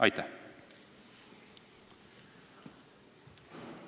Aitäh!